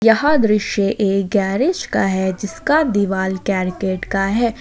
यह दृश्य एक गैरेज का है जिसका दीवाल करकट का है।